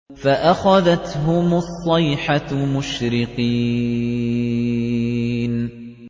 فَأَخَذَتْهُمُ الصَّيْحَةُ مُشْرِقِينَ